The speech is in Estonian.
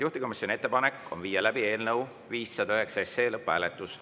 Juhtivkomisjoni ettepanek on viia läbi eelnõu 509 lõpphääletus.